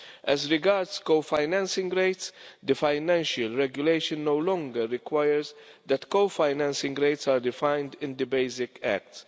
As regards co-financing rates, the financial regulation no longer requires that co-financing rates are defined in the basic acts.